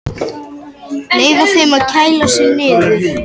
Leyfa þeim að kæla sig niður